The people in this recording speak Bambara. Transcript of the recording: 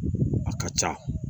A ka ca